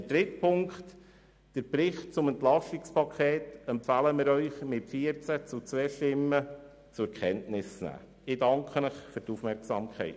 Den Bericht zum EP 2018 empfehlen wir Ihnen mit 14 zu 2 Stimmen zur Kenntnisnahme.